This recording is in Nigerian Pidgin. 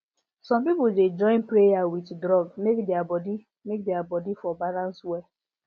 some people dey join prayer with drug make their body make their body for balance well